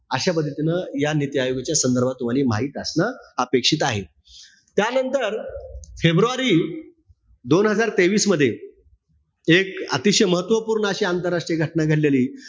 अशा पद्धतीनं या नीती आयोगाच्या संदर्भात माहित असणं अपेक्षित आहे. त्यांनतर, फेब्रुवारी दोन हजार तेवीस मध्ये, एक अतिशय महत्वपूर्ण अशी आंतरराष्ट्रीय घटना घडलेली.